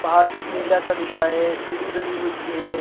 पहाड़ का टिला -सा दिख रहा है सीढ़ी बनी हुई हैं।